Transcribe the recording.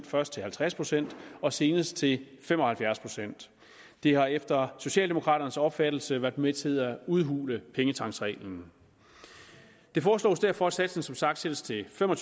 først til halvtreds procent og senest til fem og halvfjerds procent det har efter socialdemokraternes opfattelse været med til at udhule pengetanksreglen det foreslås derfor at satsen som sagt sættes til fem og